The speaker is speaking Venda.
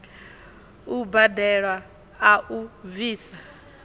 u badelwa a u bvisa